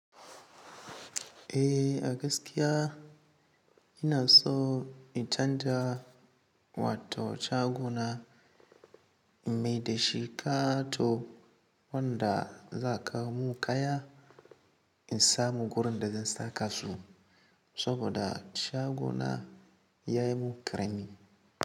Eh a gaskiya ina so in canza wato shagona in mai da shi kato wanda za kawo mun kaya in samu gurin da zan saka su saboda shagona ya yi mun ƙarami.